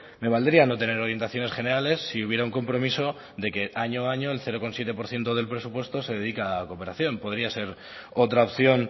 me valdría no tener orientaciones generales si hubiera un compromiso de que año a año el cero coma siete por ciento del presupuesto se dedica a cooperación podría ser otra opción